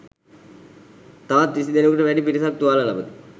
තවත් විසි දෙනෙකුට වැඩි පිරිසක් තුවාල ලබති.